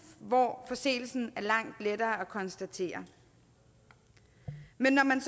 hvor forseelsen er langt lettere at konstatere men når man